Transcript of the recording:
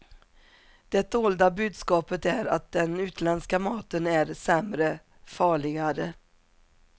Det dolda budskapet är att den utländska maten är sämre, farligare.